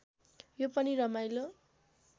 यो पनि रमाइलो